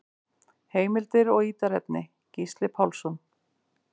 Heimildir og ítarefni: Gísli Pálsson.